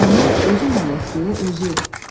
Onun özü mələkdir, özü.